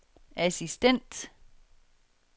assistent